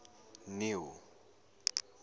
neil